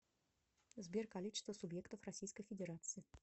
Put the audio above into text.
сбер количество субъектов российской федерации